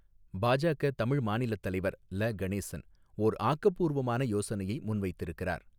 பாஜக தமிழ் மாநிலத் தலைவர் ல கணேசன் ஓர் ஆக்கபூர்வமான யோசனையை முன்வைத்திருக்கிறார்.